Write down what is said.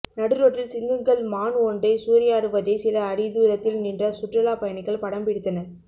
நடு ரோட்டில் சிங்கங்கள் மான் ஒன்றை சூறையாடுவதை சில அடி தூரத்தில் நின்ற சுற்றுலா பயணிகள் படம் பிடித்தனர்